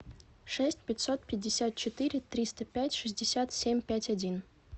шесть пятьсот пятьдесят четыре триста пять шестьдесят семь пять один